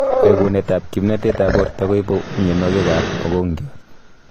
Reguneet ab kiimnatet ab borto koibu mionwokik ab mogongiat